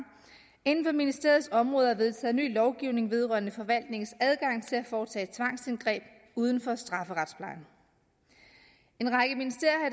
inden for ministeriets område er vedtaget en ny lovgivning vedrørende forvaltningens adgang til at foretage tvangsindgreb uden for strafferetsplejen en række ministerier